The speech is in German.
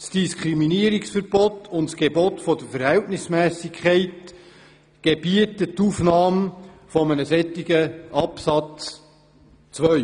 Das Diskriminierungsverbot und das Gebot der Verhältnismässigkeit gebieten die Aufnahme eines entsprechenden Absatzes 2.